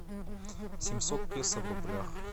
семьсот песо в рублях